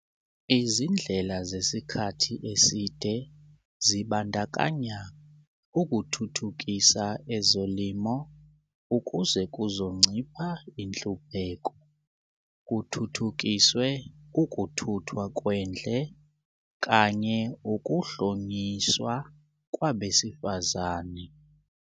Izindlela zesikhathi eside zibandakanya - ukuthuthukisa ezolimo, ukuze kuzoncipha inhlupheko, kuthuthukiswe ukuthuthwa kwendle, kanye ukuhlonyiswa kwabesifazane.